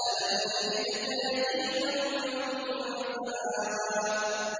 أَلَمْ يَجِدْكَ يَتِيمًا فَآوَىٰ